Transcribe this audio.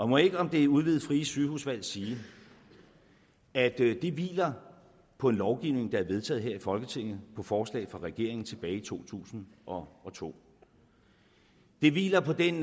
må jeg ikke om det udvidede frie sygehusvalg sige at det hviler på en lovgivning der er vedtaget her i folketinget på forslag fra regeringen tilbage i to tusind og to det hviler på den